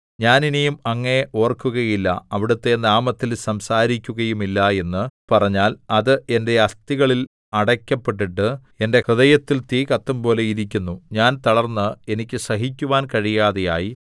ഞാൻ ഇനി അങ്ങയെ ഓർക്കുകയില്ല അവിടുത്തെ നാമത്തിൽ സംസാരിക്കുകയുമില്ല എന്നു പറഞ്ഞാൽ അത് എന്റെ അസ്ഥികളിൽ അടയ്ക്കപ്പെട്ടിട്ട് എന്റെ ഹൃദയത്തിൽ തീ കത്തുംപോലെ ഇരിക്കുന്നു ഞാൻ തളർന്ന് എനിക്ക് സഹിക്കുവാൻ കഴിയാതെയായി